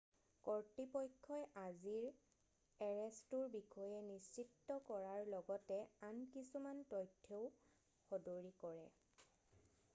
কৰ্তৃপক্ষই আজিৰ এৰেষ্টটোৰ বিষয়ে নিশ্চিত কৰাৰ লগতে আন কিছুমান তথ্যও সদৰী কৰে